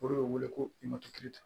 O de bɛ wele ko